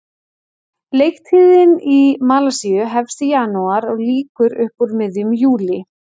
Leiktíðin í Malasíu hefst í janúar og lýkur upp úr miðjum júlí.